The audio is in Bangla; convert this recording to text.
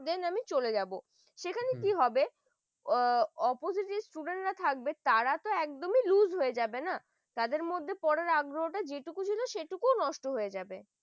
দিয়ে আমি চলে যাব হম এখানে কি হবে ও opposite যে student গুলো থাকবে তারা তো একদম loose হয়ে যাবেন তাই না তাদের মধ্যে পড়ার আগে ওটা যেটুকু জিনিস সেটুকু নষ্ট হয়ে যাবে ।